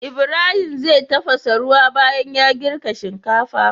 Ibahim zai tafasa ruwa banyan ya girka shinkafa